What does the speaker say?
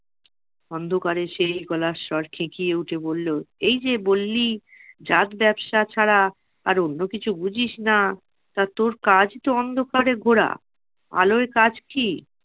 অন্ধকারে সেই গলার স্বর খেকিয়ে উঠে বললো, এই যে বললি জাত ব্যবসা ছাড়া আর অন্য কিছু বুঝিস না তা তোর কাজ তো অন্ধকারে ঘোরা, আলোয় কাজ কি?